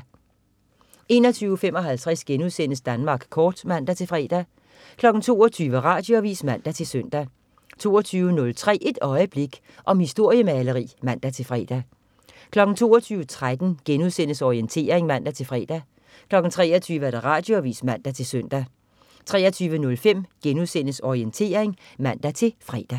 21.55 Danmark kort* (man-fre) 22.00 Radioavis (man-søn) 22.03 Et øjeblik. Om historiemaleri (man-fre) 22.13 Orientering* (man-fre) 23.00 Radioavis (man-søn) 23.05 Orientering* (man-fre)